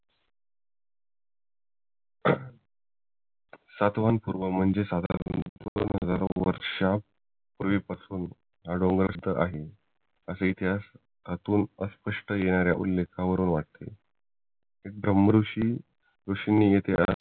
सातवन पूर्व म्हणजे साधारण वर्षा पूर्वी पासून हा डोंगर इथे आहे असा इतिहास यातून स्पष्ट येणाऱ्या उल्लेखावरून वाटते एक ब्रम्हऋषी नि